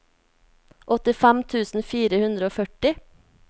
åttifem tusen fire hundre og førti